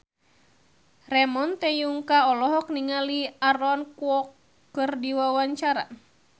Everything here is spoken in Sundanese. Ramon T. Yungka olohok ningali Aaron Kwok keur diwawancara